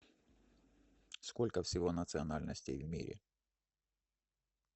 сколько всего национальностей в мире